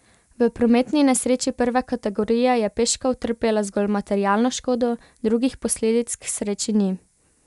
V prometni nesreči prve kategorije je peška utrpela zgolj materialno škodo, drugih posledic k sreči ni.